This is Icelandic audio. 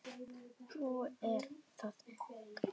Svo er það Gaukur.